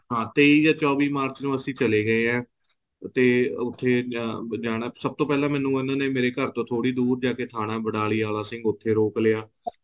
ਹਾਂ ਤੇਈ ਜਾਂ ਚੋਵੀ ਮਾਰਚ ਨੂੰ ਅਸੀਂ ਚੱਲੇ ਗਏ ਹਾਂ ਤੇ ਉੱਥੇ ਜਾਣਾ ਸਭ ਤੋਂ ਪਹਿਲਾਂ ਮੈਨੂੰ ਉਹਨਾਂ ਨੇ ਮੇਰੇ ਘਰ ਤੋਂ ਥੋੜੀ ਦੂਰ ਜਾਕੇ ਥਾਣਾ ਬਨਾਲੀ ਆਲਾ ਸਿੰਘ ਉੱਥੇ ਰੋਕ ਲਿਆ